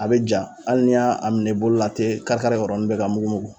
A bɛ ja hali n'i y'a minɛ i bolo la a tɛ kari kari o yɔrɔnin bɛ ka mugumugu